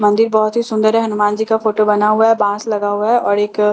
मंदिर बहुत ही सुंदर है हनुमान जी का फोटो बना हुआ है बाँस लगा हुआ है और एक --